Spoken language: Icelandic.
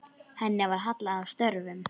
Henni var hallað að stöfum.